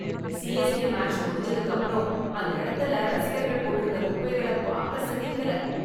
CSK match முடிஞ்சதுக்கு அப்புறம் அந்த இடத்துல ரசிகர்கள் போட்டிருந்த குப்பைகள பாக்க சகிக்கலை.